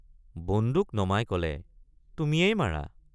বন্দুক নমাই কলে তুমিয়েই মাৰা।